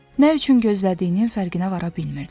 Nə üçün gözlədiyinin fərqinə vara bilmirdi.